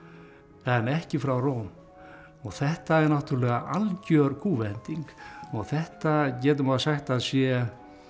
en ekki frá Róm og þetta er náttúrulega algjör kúvending og þetta getur maður sagt að sé